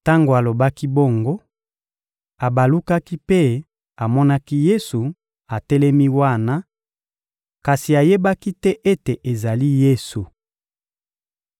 Tango alobaki bongo, abalukaki mpe amonaki Yesu atelemi wana, kasi ayebaki te ete ezali Yesu.